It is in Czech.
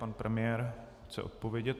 Pan premiér chce odpovědět.